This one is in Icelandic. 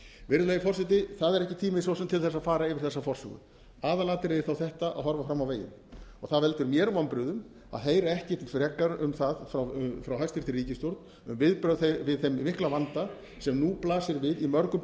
virðulegi forseti það er ekki tími svo sem til þess að fara yfir þessa forsögu aðalatriðið er þó þetta að horfa fram á veginn það veldur mér vonbrigðum að hefur ekki frekar frá hæstvirtri ríkisstjórn um viðbrögð við þeim mikla vanda sem nú blasir við í mörgum